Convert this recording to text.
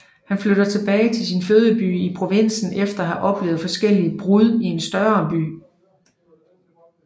Han flytter tilbage til sin fødeby i provinsen efter at have oplevet forskellige brud i en større by